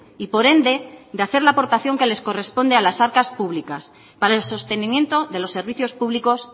y por ende de hacer la aportación que les corresponde a las arcas públicas para el sostenimiento de los servicios públicos